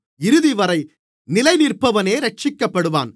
இறுதிவரை நிலைநிற்பவனே இரட்சிக்கப்படுவான்